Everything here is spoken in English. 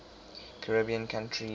caribbean countries